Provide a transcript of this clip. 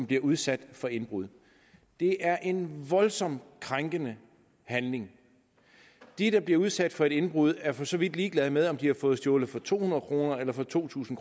bliver udsat for indbrud det er en voldsomt krænkede handling de der bliver udsat for et indbrud er for så vidt ligeglade med om de har fået stjålet for to hundrede kroner eller for to tusind